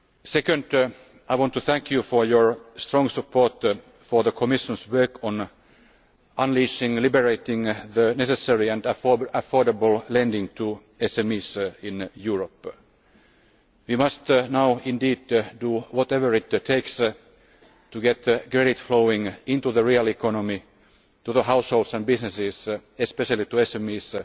Secondly, I want to thank you for your strong support for the Commission's work on freeing up the necessary and affordable lending to SMEs in Europe. We must now do whatever it takes to get credit flowing into the real economy, to the households and businesses especially to SMEs